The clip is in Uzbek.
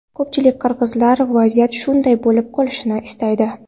Ko‘pchilik qirg‘izlar vaziyat shunday bo‘lib qolishini istaydi.